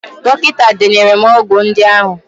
Dọkịta denyere m ọgwụ ndị ahụ.